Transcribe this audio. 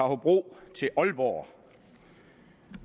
hobro til aalborg